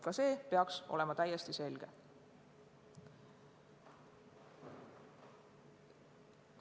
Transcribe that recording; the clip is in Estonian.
Ka see peaks olema täiesti selge.